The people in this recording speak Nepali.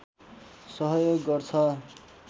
सहयोग गर्छ